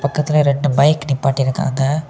பக்கத்திலேயே ரெண்டு பைக் நிப்பாட்டிருக்காங்க.